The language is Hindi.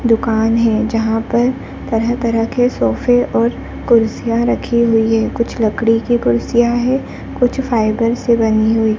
दुकान है जहाँ पर तरह तरह के सोफे और कुर्सियाँ रखी हुई है कुछ लकड़ी की कुर्सियाँ है कुछ फाइबर से बनी हुई --